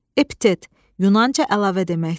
Epitet, yunanca əlavə deməkdir.